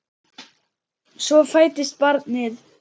Svo fæddist barnið.